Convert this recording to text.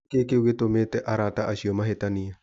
Nĩkĩ kĩu gĩtumĩte arata acio mahĩtanie.